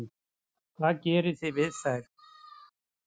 Hvað gerið þið við það?